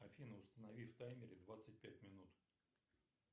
афина установи в таймере двадцать пять минут